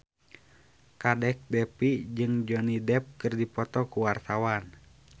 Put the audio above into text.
Kadek Devi jeung Johnny Depp keur dipoto ku wartawan